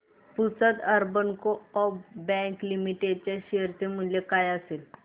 Pusad urban co-op bank limited च्या share चे मूल्य काय असेल